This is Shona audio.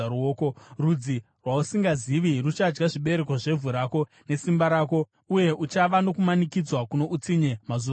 Rudzi rwausingazivi ruchadya zvibereko zvevhu rako nesimba rako, uye uchava nokumanikidzwa kuno utsinye mazuva ose.